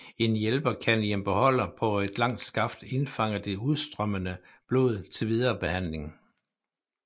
En hjælper kan i en beholder på et langt skaft indfange det udstrømmende blod til videre behandling